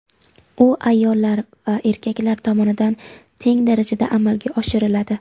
u ayollar va erkaklar tomonidan teng darajada amalga oshiriladi.